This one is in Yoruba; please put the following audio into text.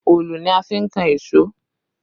Òòlù ni a fi n kan èṣó